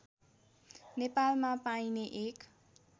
नेपालमा पाइने एक